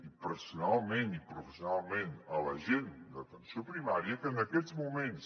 i personalment i professionalment a la gent d’atenció primària que en aquests moments